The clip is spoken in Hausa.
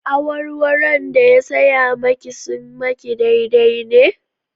Awarwaron da ya saya maki sun maki daidai ne?